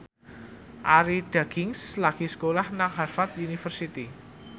Arie Daginks lagi sekolah nang Harvard university